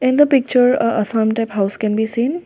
in the picture a some type house can be seen.